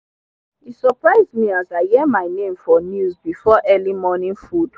e surprise me as i hear my name for news befor early morning food